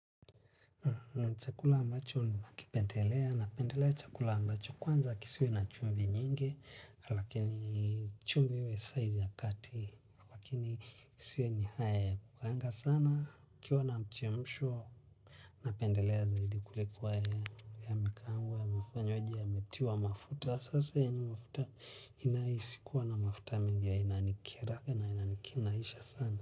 Na chakula ambacho nakipendelea, napendelea chakula ambacho kwanza kisiwe na chumvi nyingi, lakini chumvi we size ya kati, lakini kisiwe yenyehae bukaenga sana, kiuwa na mchemsho, napendelea zaidi kuloko yameakaangwa na kutiliwa mafuta sasa ya mafuta inayohisi kuwa imeekelewa mafuta inanikera sana.